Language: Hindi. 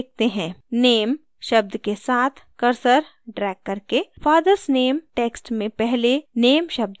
name शब्द के साथ cursor ड्रैग करके fathers name text में पहले name शब्द को चुनें